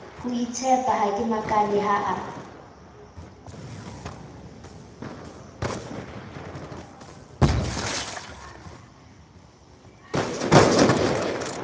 hoitshepa ha ke makale ha